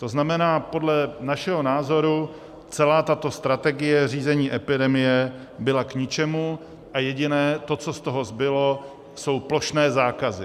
To znamená, podle našeho názoru celá tato strategie řízení epidemie byla k ničemu a to jediné, co z toho zbylo, jsou plošné zákazy.